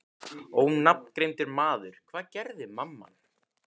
Ónafngreindur maður: Hvað gerði mamman?